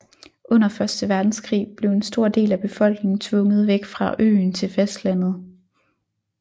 Under Første Verdenskrig blev en stor del af befolkningen tvunget væk fra øen til fastlandet